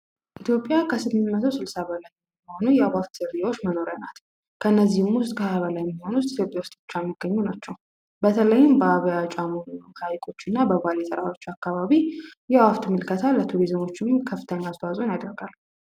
ኢትዮጵያ በስድስት መቶ ሰባ በላይ የአፍ ዝርያዎች መገኛ እና መኖሪያ ናት ከነዚህ ውስጥ ከ 20 በላይ የሚሆኑት በኢትዮጵያ ብቻ የሚገኙ ናቸው በተለይም በአባያ ጫሞ አካባቢዎችና በባሌ ተራሮች አካባቢዎች የሚገኙ ቱሪዝም ከፍተኛ አስተዋጽኦ ያደርጋሉ።